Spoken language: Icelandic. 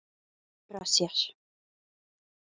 Lét ekki ögra sér